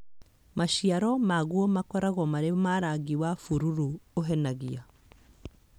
Maciaro maguo makoragwo marĩ na rangi wa bururu ũhenagia